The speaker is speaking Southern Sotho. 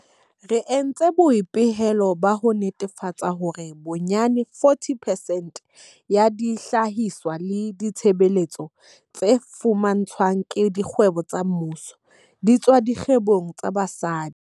Re entse boipehelo ba ho netefatsa hore bonyane 40 percent ya dihlahiswa le ditshebeletso tse fumantshwang ke dikgwebo tsa mmuso di tswa dikgwebong tsa basadi.